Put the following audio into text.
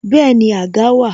Bẹẹni, àga wà